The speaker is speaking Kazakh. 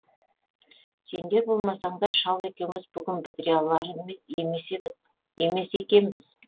сендер болмасаңдар шал екеуміз бүгін бітіре алар емес екенбіз